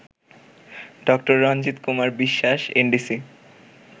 ড. রণজিৎ কুমার বিশ্বাস এনডিসি